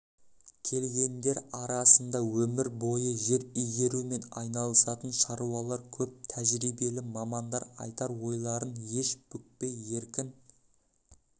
келгендер арасында өмір бойы жер игерумен айналысатын шаруалар көп тәжірибелі мамандар айтар ойларын еш бүкпей еркін